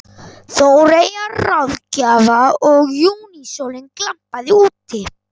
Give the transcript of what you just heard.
Þóreyjar ráðgjafa og júnísólin glampaði úti.